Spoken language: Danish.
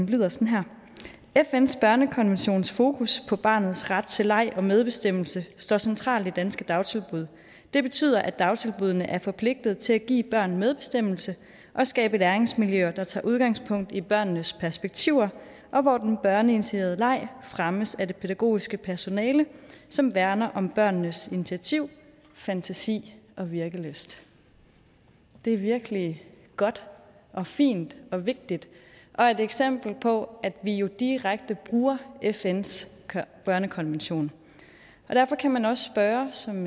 lyder sådan her fns børnekonventions fokus på barnets ret til leg og medbestemmelse står centralt i danske dagtilbud det betyder at dagtilbuddene er forpligtet til at give børn medbestemmelse og skabe læringsmiljøer der tager udgangspunkt i børnenes perspektiv og og hvor den børneinitierede leg fremmes af det pædagogiske personale som værner om børnenes initiativ fantasi og virkelyst det er virkelig godt og fint og vigtigt og et eksempel på at vi jo direkte bruger fns børnekonvention derfor kan man også spørge som